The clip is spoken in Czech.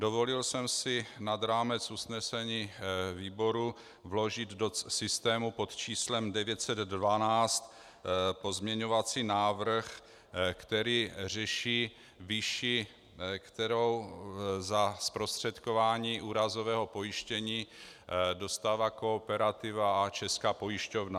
Dovolil jsem si nad rámec usnesení výboru vložit do systému pod číslem 912 pozměňovací návrh, který řeší výši, kterou za zprostředkování úrazového pojištění dostává Kooperativa a Česká pojišťovna.